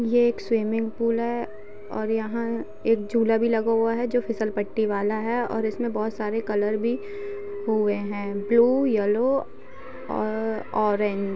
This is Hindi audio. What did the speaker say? ये एक स्विमिंग पूल है। यह एक झूला भी लगा हुआ है जो फिशल पट्टी वाला है। और जिसमे बहुत सारे कलर भी हुए है। ब्लू येल्लो औ ऑरेंज --